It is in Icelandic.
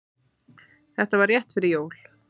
Þetta var rétt fyrir jól.